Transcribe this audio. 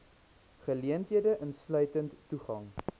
geleenthede insluitend toegang